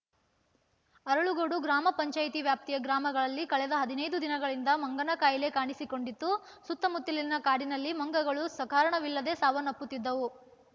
ಅರಳಗೋಡು ಗ್ರಾಮ ಪಂಚಾಯಿತಿ ವ್ಯಾಪ್ತಿಯ ಗ್ರಾಮಗಳಲ್ಲಿ ಕಳೆದ ಹದಿನೈದು ದಿನಗಳಿಂದ ಮಂಗನಕಾಯಿಲೆ ಕಾಣಿಸಿಕೊಂಡಿತ್ತು ಸುತ್ತಮುತ್ತಲಿನ ಕಾಡಿನಲ್ಲಿ ಮಂಗಗಳು ಸಕಾರಣವಿಲ್ಲದೆ ಸಾವನ್ನಪ್ಪುತ್ತಿದ್ದವು